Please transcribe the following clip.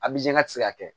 A bi janya tɛ se ka kɛ